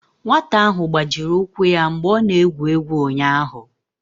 nwata ahụ gbajiri ụkwụ ya mgbe ọ na-egwu egwu ụnyahụ